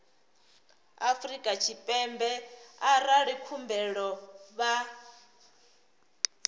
afrika tshipembe arali khumbelo vha